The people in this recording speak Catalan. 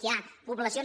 hi ha poblacions